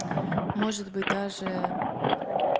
может быть даже